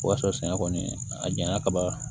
O y'a sɔrɔ sɛngɛ kɔni a janya ka ban